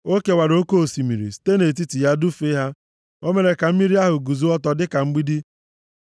O kewara oke osimiri, site nʼetiti ya dufee ha. O mere ka mmiri ahụ guzo ọtọ dịka mgbidi.